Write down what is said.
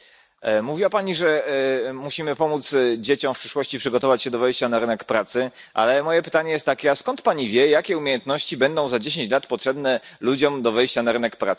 Mówiła Pani, że musimy pomóc dzieciom w przyszłości przygotować się do wejścia na rynek pracy, ale moje pytanie jest takie a skąd Pani wie jakie umiejętności będą za 10 lat potrzebne ludziom do wejścia na rynek pracy?